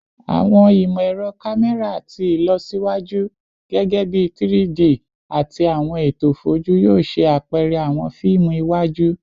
Awọn imọ-ẹrọ kamẹra ti ilọsiwaju, gẹgẹbi 3-D ati awọn eto foju, yoo ṣe apẹrẹ awọn fiimu iwaju